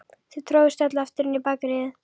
Þau tróðust öll aftur inn í Bakaríið.